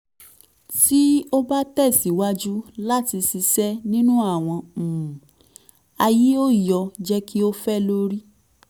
um ti o ba tẹsiwaju lati ṣiṣe ninu awọn um aaye o yoo jẹ ki o fẹ lori